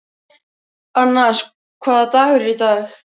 Annas, hvaða dagur er í dag?